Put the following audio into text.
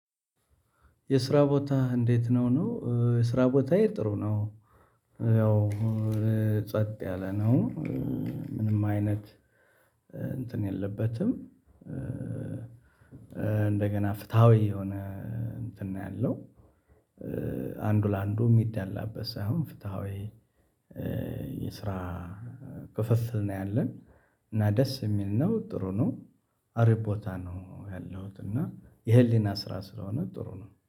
የስራ ቦታ እንዴት? ነው ነው የስራ ቦታ ጥሩ ነው። ያው ጸጥ ያለ ነው። ምንም አይነት እንትን የለበትም። እንደገና ፍትሃዊ የሆነ እንትን ነው ያለው። አንዱ ለአንዱ የሚዳላበት ሳይሆን ፍትሃዊ የስራ ክፍፍል ነው ያለን። እና ደስ የሚል ነው ጥሩ ነው። አሪፖታ ነው ያለሁት እና የህሊና ስራ ስለሆነ ጥሩ ነው።